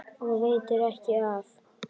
Og veitir ekki af!